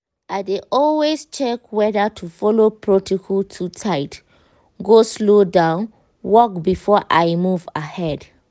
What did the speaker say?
i dey always check whether to follow protocol too tight go slow down work before i move ahead.